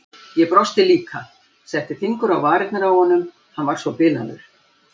Ég brosti líka, setti fingur á varirnar á honum, hann var svo bilaður.